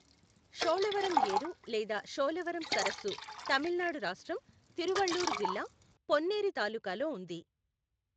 షోలవరం యేరు లేదా షోలవరం సరస్సు తమిళనాడు రాష్ట్రం, తిరువళ్లూరు జిల్లా, పొన్నేరి తాలూకాలో ఉంది.